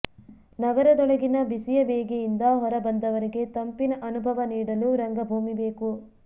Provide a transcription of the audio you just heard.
ನಗರದೊಳಗಿನ ಬಿಸಿಯ ಬೇಗೆಯಿಂದ ಹೊರಬಂದವರಿಗೆ ತಂಪಿನ ಅನುಭವ ನೀಡಲು ರಂಗಭೂಮಿ ಬೇಕು